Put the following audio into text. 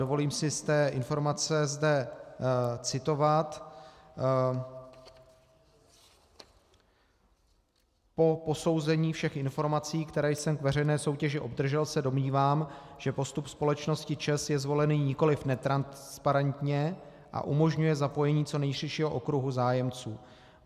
Dovolím si z té informace zde citovat: "Po posouzení všech informací, které jsem k veřejné soutěži obdržel, se domnívám, že postup společnosti ČEZ je zvolen nikoliv netransparentně a umožňuje zapojení co nejširšího okruhu zájemců.